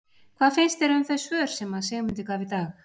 Hvað fannst þér um þau svör sem að Sigmundur gaf í dag?